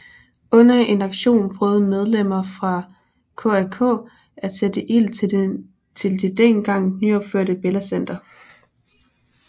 Under en aktion prøvede medlemmer fra KAK at sætte ild til det dengang nyopførte Bella Center